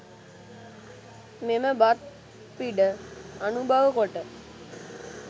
මෙම බත් පිඩ අනුභව කොට